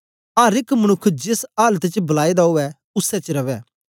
अर एक मनुक्ख जेस आलत च बलाए दा उवै उसै च रवै